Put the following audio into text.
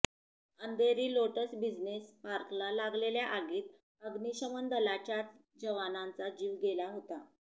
Andheri lotus business पार्कला लागलेल्या आगीत अग्निशमन दलाच्याच जवानाचा जीव गेला होता